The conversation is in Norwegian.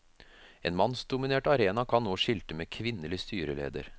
En mannsdominert arena kan nå skilte med kvinnelig styreleder.